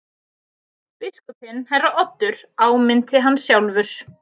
Biskupinn herra Oddur áminnti hann sjálfur.